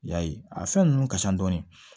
I y'a ye a fɛn ninnu ka ca dɔɔni